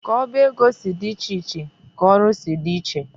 Ka oba ego si dị iche iche ka ọrụ si dị iche.